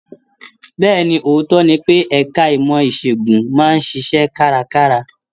Bẹ́ẹ̀ni, ootọ ní pe ẹka ìmọ isegun máa n ṣiṣẹ karakara.